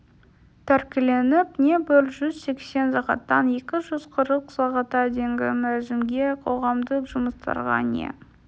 тәркіленіп не бір жүз сексен сағаттан екі жүз қырық сағатқа дейінгі мерзімге қоғамдық жұмыстарға не